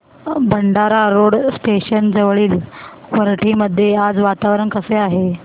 Bhandara road station जवळील वरठी मध्ये आज वातावरण कसे आहे